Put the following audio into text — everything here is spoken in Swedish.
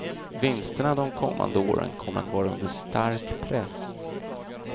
Vinsterna de kommande åren kommer att vara under stark press.